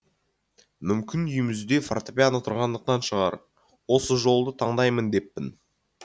мүмкін үйімізде фортепиано тұрғандықтан шығар осы жолды таңдаймын деппін